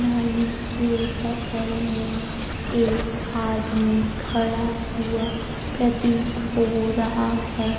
नली के बगल में एक आदमी खड़ा हुआ प्रतीत हो रहा है।